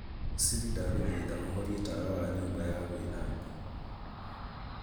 siri ndaguthaitha uhorie tawa wa nyumb aya gwithamba